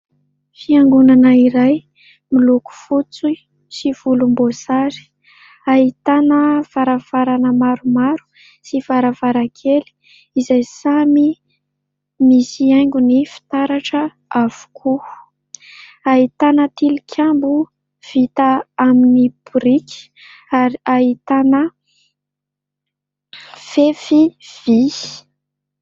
Fiangonana iray miloko fotsy sy volomboasary. Ahitana varavarana maromaro sy varavarankely izay samy misy haingony fitaratra avokoa, ahitana tilikambo vita amin'ny boriky ary ahitana fefy vy.